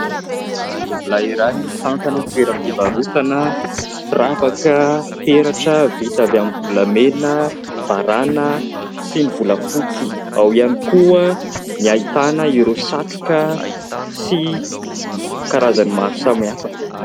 Tovolahy iray mitantana toeram-pivarotana firavaka, peratra vita avy amin'ny volamena, varàna sy ny volafotsy. Ao ihany koa ny ahitana ireo satroka sy karazany maro samihafa.